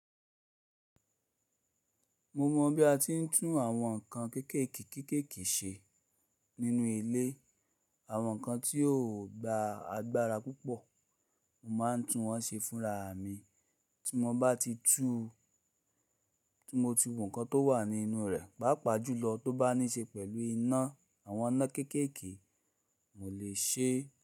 Mo mọ̀ bí a ti ń tún àwọn nǹkan kéékèèké kéékèèké ṣe nínú ilé. Àwọn nǹkan tí kò gba agbára púpọ̀, mo máa ń tún wọ́n ṣe fúnra mi. Tí mo bá ti tú ti mo ti wo nkán tó wà nínú rẹ̀, pàápàá jùlọ tó bá ní ṣe pẹ̀lú iná, àwọn iná kéékèèké, mo le ṣe.